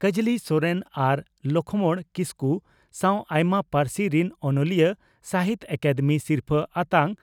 ᱠᱟᱡᱽᱞᱤ ᱥᱚᱨᱮᱱ ᱟᱨ ᱞᱚᱠᱷᱢᱚᱬ ᱠᱤᱥᱠᱩ ᱥᱟᱣ ᱟᱭᱢᱟ ᱯᱟᱹᱨᱥᱤ ᱨᱤᱱ ᱚᱱᱚᱞᱤᱭᱟᱹ ᱥᱟᱦᱤᱛᱭᱚ ᱟᱠᱟᱫᱮᱢᱤ ᱥᱤᱨᱯᱷᱟᱹ ᱟᱛᱟᱝ